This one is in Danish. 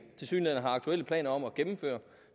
har aktuelle planer om at gennemføre